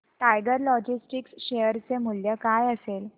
tiger Logistics share चे मूल्य काय असेल